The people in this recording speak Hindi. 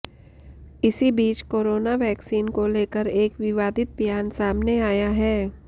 इसी बीच कोरोना वैक्सीन को लेकर एक विवादित बयान सामने आया है